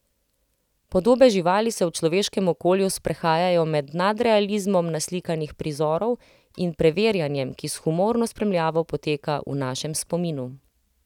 Podobe živali se v človeškem okolju sprehajajo med nadrealizmom naslikanih prizorov in preverjanjem, ki s humorno spremljavo poteka v našem spominu.